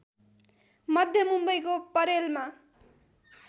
मध्य मुम्बईको परेलमा